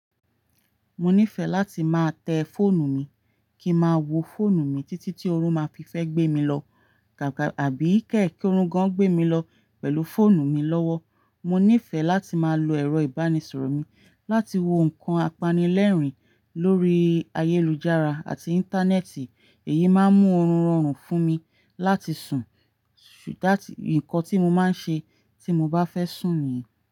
Mo nífẹ̀ẹ́ láti máa tẹ fóònù mi kí n máa wo fóònù mi títí tí oorun máa fi fẹ́ gbé mi lọ, gàgà àbí kẹ̀ ki òórùn gan gbé mi lọ pẹ̀lú fóònù mi lọ́wọ́. Mo nífẹ̀ẹ́ láti máa lo ẹ̀rọ ìbánisọ̀rọ̀ mi láti wo nǹkan apanilẹ́rìn lórí ayélujára àti Íńtánẹ́ẹ̀tì, èyí máa ń mú oorun rọrùn fún mi láti sùn, ṣùgbọ́n nǹkan tí mo máa ń ṣe tí mo bá fẹ́ sùn nìyẹn.